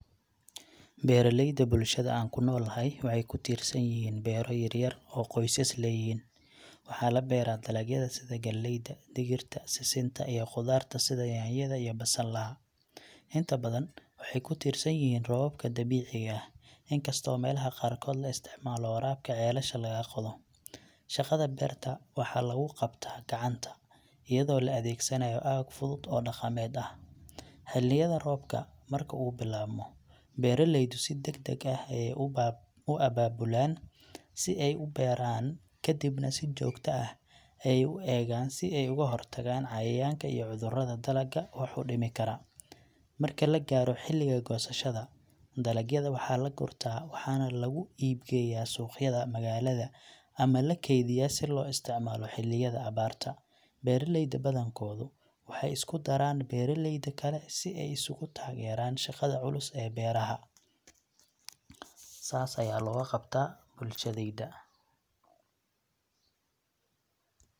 Beraleyda bulshada an kunolaxay, waxay kititsanyixiin bera yaryar oo qoysas leyixiin, waxa labera dalagyada sida galeyda, digirta, sisinta iyo qudarta sidha nyanyada iyo basalaxa, inta badan waxay kutirsanyixiin robobka dabicigaa, inkasto melaxa qarkodh laisticmalo warabka celasha laga ak qodoo, shagada berta waxa laguqabta, gacanta iyado laadegsanayo aag fudud oo daqamed ah, xiliyada robka, marki u bilabmo, beraleyda sida dagdag ah ay u ababulaan sii ay u beraan, kadibna sii jogta ah ay uegan si ay oguxoryagan cauayanka iyo cudurada dalaga wax udimikara, marka lagaroo xiliga qosashada, dalagyada waxa lagurta waxana laguib geya, sugyada magalada, ama lakeydiya si loisticmalo xiliyada abaarta, beraleyda badan kodu, waxau iskudaraan, beraleyda kale, sii ay iskugutageran shagada culus ee beraxa, sas aya loguqabta bulshadeydha.